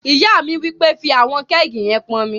Ìyá mi wí pé, "fí àwọn kẹ́ẹ̀gì yẹn pọn omi!"